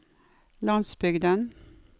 landsbygden